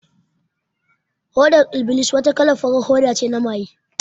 Hodar iblis wata kalan farar hoda ne na maye